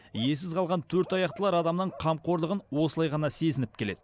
иесіз қалған төртаяқтылар адамның қамқорлығын осылай ғана сезініп келеді